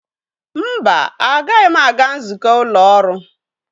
Mba, agaghị m aga nzukọ ụlọ ọrụ.